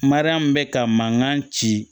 Mariyamu bɛ ka mankan ci